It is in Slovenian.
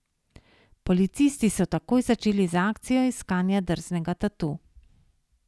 Policisti so takoj začeli z akcijo iskanja drznega tatu.